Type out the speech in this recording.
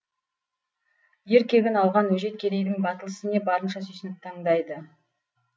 ер кегін алған өжет кедейдің батыл ісіне барынша сүйсініп тыңдайды